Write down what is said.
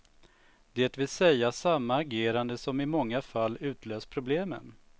Det vill säga samma agerande som i många fall utlöst problemen.